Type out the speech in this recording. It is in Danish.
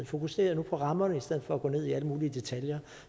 fokusere på rammerne i stedet for at gå ned i alle mulige detaljer